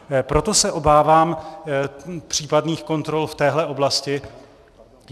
Proto se obávám případných kontrol v téhle oblasti.